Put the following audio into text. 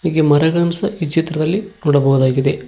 ಹೀಗೆ ಮರಗಳನ್ ಸಹ ಈ ಚಿತ್ರದಲ್ಲಿ ನೋಡಬಹುದಾಗಿದೆ.